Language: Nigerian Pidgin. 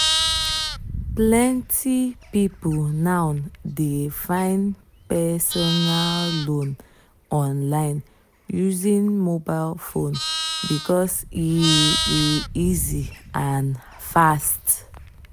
plenty people now dey find personal loan online using mobile phone because e e easy and fast.